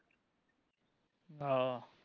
ਆਹੋ